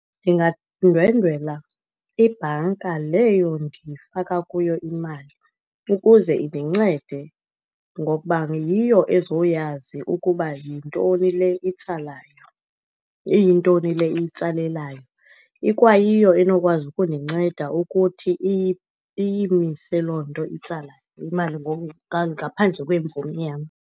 Ndingandwendwela ibhanka leyo ndifaka kuyo imali ukuze indincede ngokuba yiyo ezoyazi ukuba yintoni le itsalayo, iyintoni le itsalelayo. Ikwayiyo enokwazi ukundinceda ukuthi iyimise loo nto itsala imali ngaphandle kwemvume yam.